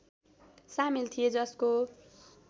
सामेल थिए जसको